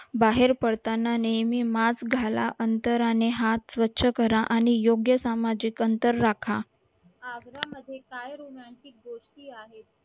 बाहेर पडताना नेहमी mask घाला अंतराने हात स्वच्छ करा आणि योग्य सामाजिक अंतर राखा